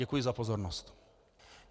Děkuji za pozornost.